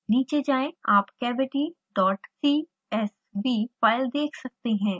नीचे जाएँ आप cavitycsv फाइल देख सकते हैं